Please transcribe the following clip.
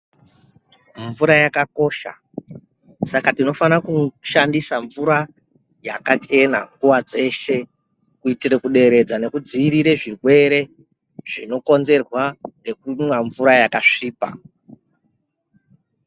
Mvura yakakosha saka tinofana kushandisa mvura yakachena nguwa dzeshe kuitira kuderedza nekudzivirira zvirwere zvinokonzerwa nekumwe mvura yakasvipa.